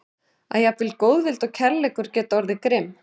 Að jafnvel góðvild og kærleikur geta orðið grimm.